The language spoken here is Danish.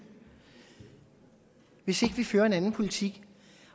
hvis ikke vi fører en anden politik